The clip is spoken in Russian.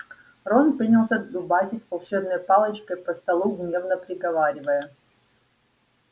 рон принялся дубасить волшебной палочкой по столу гневно приговаривая